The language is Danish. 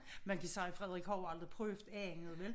Man kan sige Frederik har jo aldrig prøvet andet vel